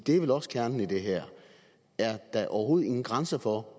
er vel også kernen i det her er der overhovedet ingen grænser for